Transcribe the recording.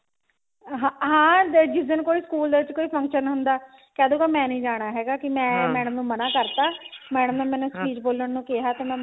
ਹਾਂ ਜਿਸ ਦਿਨ ਕੋਈ ਸਕੂਲ ਦੇ ਵਿੱਚ ਕੋਈ function ਹੁੰਦਾ ਕਹਿਦੂਗਾ ਮੈਂ ਨਹੀਂ ਜਾਣਾ ਹੈਗਾ ਕਿ ਮੈਂ madam ਨੂੰ ਮਨਾ ਕਰਤਾ madam ਨੇ ਮੈਨੂੰ speech ਬੋਲਣ ਨੂੰ ਕਿਹਾ ਤੇ ਮੈਂ ਮਨਾ